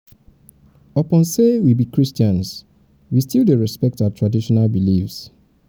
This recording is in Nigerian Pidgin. upon sey we be christians we still dey respect our traditional beliefs.